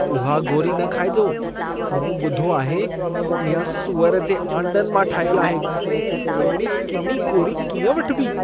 उहा गोरी न खाइजो। मूं ॿुधो त इहा सुअर जे आंडनि मां ठाहियल आहे। अहिड़ी किनी गोरी कीअं वठिबी?